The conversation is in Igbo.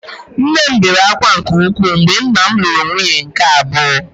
Nne m bere ákwá nke ukwuu mgbe nna m lụrụ nwunye nke abụọ